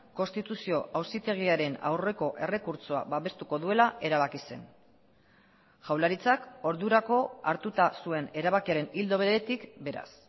konstituzio auzitegiaren aurreko errekurtsoa babestuko duela erabaki zen jaurlaritzak ordurako hartuta zuen erabakiaren ildo beretik beraz